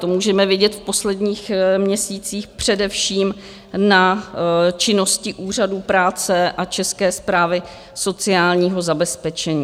To můžeme vidět v posledních měsících především na činnosti úřadů práce a České správy sociálního zabezpečení.